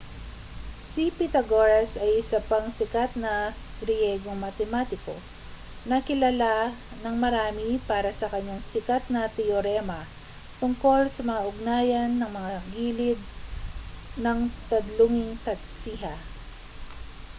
si pythagoras ay isa pang sikat na griyegong matematiko na kilala ng marami para sa kaniyang sikat na teorema tungkol sa mga ugnayan ng mga gilid ng tadlunging tatsiha